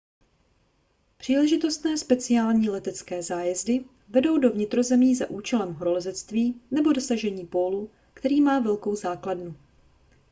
příležitostné speciální letecké zájezdy vedou do vnitrozemí za účelem horolezectví nebo dosažení pólu který má velkou základnu